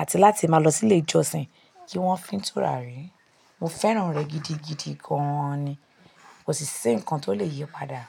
àti láti máa lọ sí ilé ìjọsìn kí wón fín tùràrí. Mo fẹ́ràn rẹ gidigidi gan ni. Kò sì ṣí nǹkan tó lè yí padà.